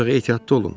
Ancaq ehtiyatlı olun.